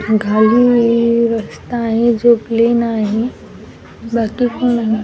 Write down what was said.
घाली एक रस्ता आहे जो प्लेन आहे बाकी --